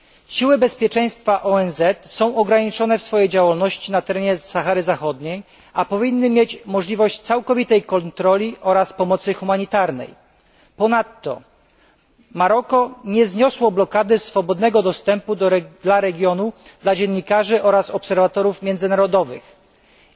Siły bezpieczeństwa ONZ są ograniczone w swojej działalności na terenie Sahary Zachodniej, a powinny mieć możliwość całkowitej kontroli oraz pomocy humanitarnej. Ponadto Maroko nie zniosło blokady swobodnego dostępu do regionu dla dziennikarzy oraz międzynarodowych obserwatorów.